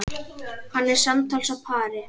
Hann er samtals á pari.